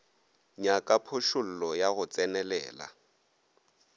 nyaka phošollo ya go tsenelela